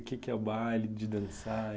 O que que é o baile de dançar, e